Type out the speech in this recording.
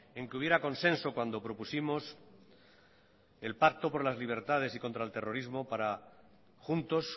en que hubiera consenso cuando propusimos el pacto por las libertades y contra el terrorismo para juntos